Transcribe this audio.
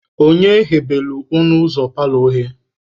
Onye ghebelu ọnụ ụzọ paalọ oghe?